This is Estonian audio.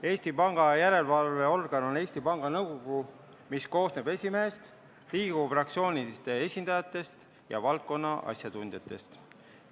Eesti Panga järelevalveorgan on Eesti Panga Nõukogu, mis koosneb esimehest, Riigikogu fraktsioonide esindajatest ja valdkonna asjatundjatest.